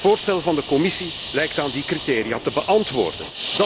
Het voorstel van de Commissie lijkt aan die criteria te beantwoorden.